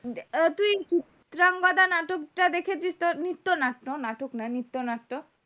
চিত্রঙ্গদা নাটক তা দেখেছিস তো নাটক না নিত্য নাট্য